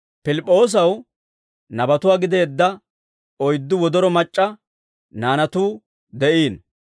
Pilip'p'oosaw nabatuwaa gideedda oyddu wodoro mac'c'a naanatuu de'iino.